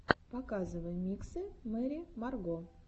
показывай миксы мэрри марго